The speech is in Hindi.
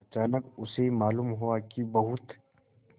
अचानक उसे मालूम हुआ कि बहुत